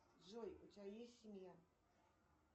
джой у тебя есть семья